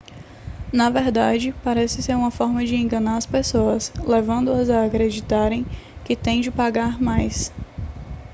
na verdade parece ser uma forma de enganar as pessoas levando-as a acreditarem que têm de pagar mais